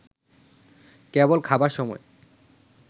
কেবল খাবার সময়